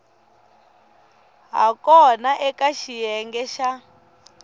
ha kona eka xiyenge xa